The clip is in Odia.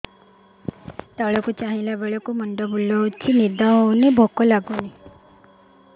ତଳକୁ ଚାହିଁଲା ବେଳକୁ ମୁଣ୍ଡ ବୁଲୁଚି ନିଦ ହଉନି ଭୁକ ଲାଗୁନି